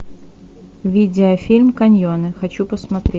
видеофильм каньоны хочу посмотреть